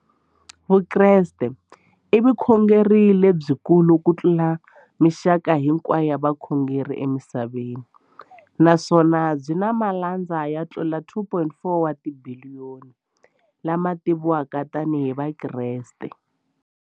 Vukreste i vukhongeri lebyi kulu kutlula mixaka hinkwayo ya vukhongeri emisaveni, naswona byi na malandza yo tlula 2.4 wa tibiliyoni, la ma tiviwaka tani hi Vakreste.